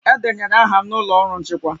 Edenyere aha m n'ụlọ ọrụ nchịkwa